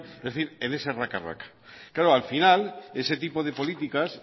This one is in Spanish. es decir en ese raca raca claro al final ese tipo de políticas